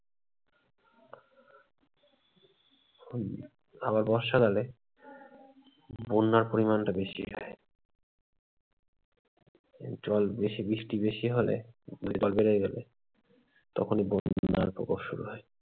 আবার বর্ষাকালে বন্যার পরিমাণটা বেশি হয় জল বেশি বৃষ্টি বেশি হলে জল বেড়ে যাবে, তখনই বন্যার প্রকপ শুরু হয়।